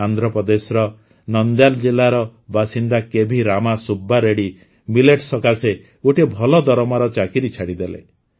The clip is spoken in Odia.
ଆନ୍ଧ୍ରପ୍ରଦେଶର ନନ୍ଦ୍ୟାଲ୍ ଜିଲ୍ଲାର ବାସିନ୍ଦା କେଭି ରାମା ସୁବ୍ବା ରେଡ୍ଡି ମିଲେଟ୍ସ ସକାଶେ ଗୋଟିଏ ଭଲ ଦରମାର ଚାକିରି ଛାଡ଼ିଦେଲେ